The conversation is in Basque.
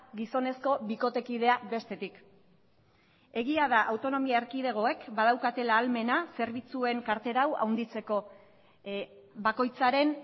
gizonezko bikotekidea bestetik egia da autonomia erkidegoek badaukatela ahalmena zerbitzuen kartera hau handitzeko bakoitzaren